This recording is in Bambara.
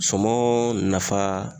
Suman nafa